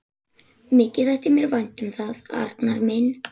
Mikið þætti mér vænt um það, Arnar minn!